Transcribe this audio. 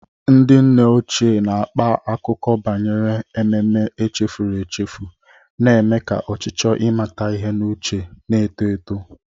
Ndị nne ochie na-akpa akụkọ banyere ememme echefuru echefu, na-eme ka ọchịchọ ịmata ihe n'uche na-eto eto.